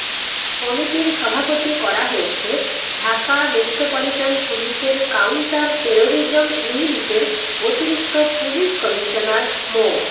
কমিটির সভাপতি করা হয়েছে ঢাকা মেট্রোপলিটন পুলিশের কাউন্টার টেরোরিজম ইউনিটের অতিরিক্ত পুলিশ কমিশনার মো